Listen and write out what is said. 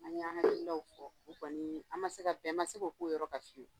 An an ka delikɛlaw fɔ u kɔni ye an ma se ka fɛn ma se k k'o yɔrɔ ka su